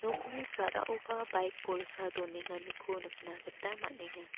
nokni sa·raoba baik bolsa donenganiko nikna gita man·enga.